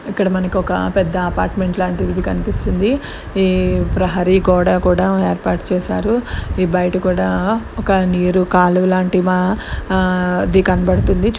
ఇక్కడ మనకి ఒక పెద్ద అపార్టుమెంట్ లాంటిది కనిపిస్తుంది. ఈ ప్రహరీ గోడ కూడా ఏర్పాటు చేసారు. ఈ బయట కూడా ఒక నీరు కాలువ లాంటిది కనబడుతుంది. చు--